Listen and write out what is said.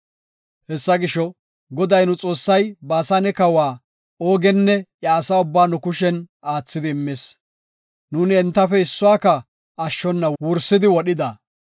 Hessa gisho, Goday nu Xoossay Baasane kawa Oogenne iya asa ubbaa nu kushen aathidi immis; nuuni entafe issuwaka ashshona wursidi wodhida.